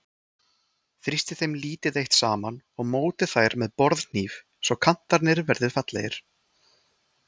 Þrýstið þeim lítið eitt saman og mótið þær með borðhníf svo kantarnir verði fallegir.